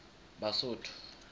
basotho